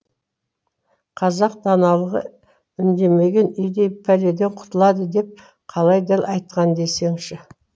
қазақ даналығы үндемеген үйдей пәледен құтылады деп қалай дәл айтқан десеңші